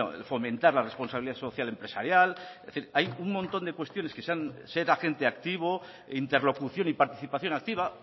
bueno fomentar la responsabilidad social empresarial es decir hay un montón de cuestiones que se han ser agente activo interlocución y participación activa